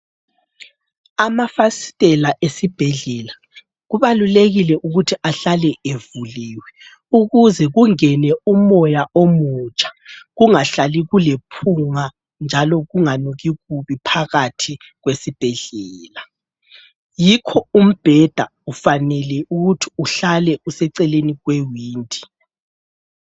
Amafasitela esibhedlela kubalulekile ukuthi ahlale evuliweyo ukuze kungene umoya omutsha kungahlali kulephunga njalo kunganuki kubi phakathi kwesibhedlela. Yikho umbheda kufanele ukuthi uhlale useceleni kwewindi.